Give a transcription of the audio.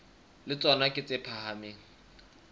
le tsona ke tse phahameng